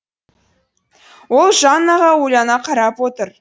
ол жаннаға ойлана қарап отыр